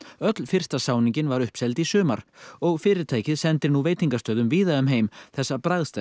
öll fyrsta sáning var uppseld í sumar og fyrirtækið sendir veitingastöðum víða um heim þessa